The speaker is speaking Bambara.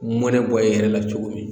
Mɔnɛ bɔ i yɛrɛ la cogo min